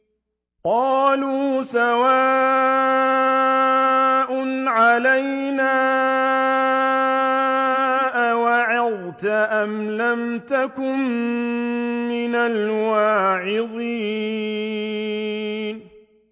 قَالُوا سَوَاءٌ عَلَيْنَا أَوَعَظْتَ أَمْ لَمْ تَكُن مِّنَ الْوَاعِظِينَ